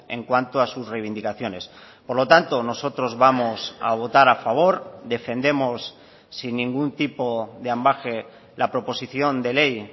en cuanto a sus reivindicaciones por lo tanto nosotros vamos a votar a favor defendemos sin ningún tipo de ambage la proposición de ley